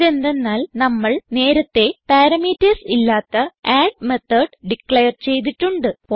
ഇതെന്തന്നാൽ നമ്മൾ നേരത്തേ പാരാമീറ്റർസ് ഇല്ലാത്ത അഡ് മെത്തോട് ഡിക്ലയർ ചെയ്തിട്ടുണ്ട്